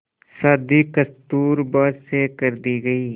शादी कस्तूरबा से कर दी गई